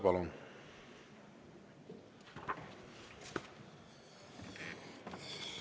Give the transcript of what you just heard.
Palun!